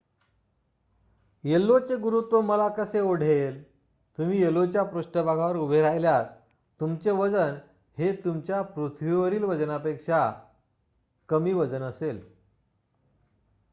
io चे गुरुत्व मला कसे ओढेल तुम्ही io च्या पृष्ठभागावर उभे राहिल्यावर तुमचे वजन हे तुमच्या पृथ्वीवरील वजनापेक्षा कमी वजन असेल